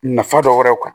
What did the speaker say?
Nafa dɔ wɛrɛw kan